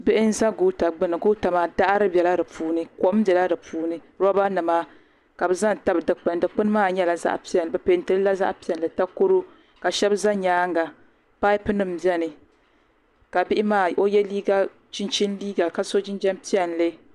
Bihi n-za goota gbuni goota maa daɣiri bela di puuni kom bela di puuni robanima ka bɛ za n-tabi dukpuni dukpuni maa nyɛla zaɣ'piɛlli bɛ peenti li la zaɣ'piɛlli takoro ka shɛba za nyaaŋa paapunima beni bihi maa o ye chinchini liiga ka so jinjam piɛlli.